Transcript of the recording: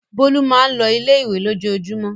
Bólú máa ń lọ ilé-ìwé lójoojúmọ́.